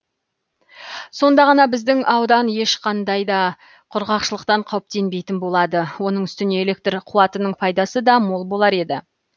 сонда ғана біздің аудан ешқандай да құрғақшылықтан қауіптенбейтін болады оның үстіне электр қуатының пайдасы да мол болар еді